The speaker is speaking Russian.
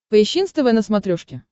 поищи нств на смотрешке